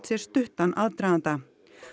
sér stuttan aðdraganda